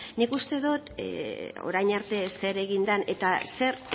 nik uste dot orain arte zer egin den eta zer